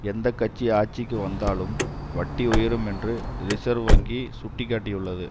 எந்த கட்சி ஆட்சிக்கு வந்தாலும் வட்டி உயரும் என்று ரிசேர்வ் வங்கி சுட்டி காட்டியுள்ளது